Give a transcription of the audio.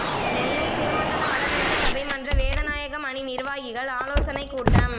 நெல்லை திருமண்டல வடமேற்கு சபை மன்ற வேதநாயகம் அணி நிர்வாகிகள் ஆலோசனை கூட்டம்